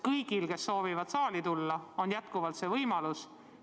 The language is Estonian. Kõigil, kes soovivad saali tulla, on jätkuvalt see võimalus.